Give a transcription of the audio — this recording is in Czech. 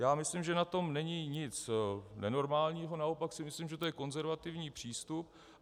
Já myslím, že na tom není nic nenormálního, naopak si myslím, že to je konzervativní přístup.